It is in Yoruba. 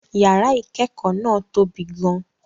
Yàrá ìkẹ́kọ̀ọ́ náà tobi gan-an